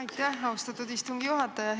Aitäh, austatud istungi juhataja!